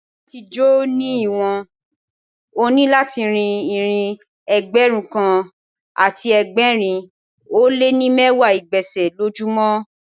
Láti jò ní ìwọ̀n, o ní láti rín ìrìn Ẹgbẹ̀rún kan àti ẹgbẹ̀rin ó lé ní mẹ́wàá ìgbésẹ̀ lójú mọ́.